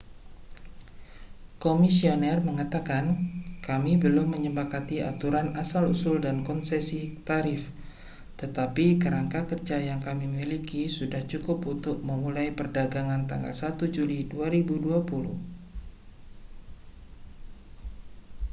"komisioner mengatakan kami belum menyepakati aturan asal usul dan konsesi tarif tetapi kerangka kerja yang kami miliki sudah cukup untuk memulai perdagangan tanggal 1 juli 2020".